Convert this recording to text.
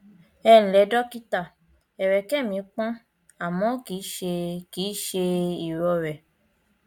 ẹǹlẹ dọkítà ẹrẹkẹ mi pọn àmọ kì í ṣe kì í ṣe ìrọrẹ